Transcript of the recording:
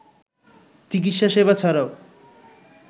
চিকিৎসা সেবা ছাড়াও